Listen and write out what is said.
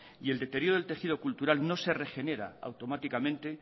y el deterioro del tejido cultural no se regenera automáticamente